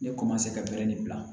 Ne ka bɛrɛ de bila